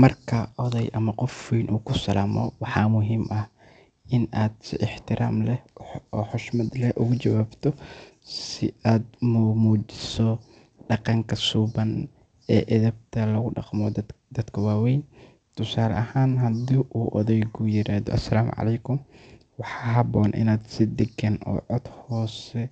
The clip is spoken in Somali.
Marka oday ama qof weyn uu ku salaamo, waxaa muhiim ah in aad si ixtiraam leh oo xushmad leh uga jawaabto si aad muujiso dhaqanka suuban iyo edebta lagula dhaqmo dadka waaweyn. Tusaale ahaan, haddii uu odayku yiraahdo “Asalaamu Caleykum,” waxaa habboon inaad si degan oo cod hoose